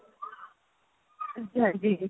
ਹਾਂਜੀ ਹਾਂਜੀ ਜੀ